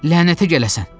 Lənətə gələsən!